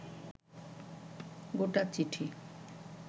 গোটা চিঠি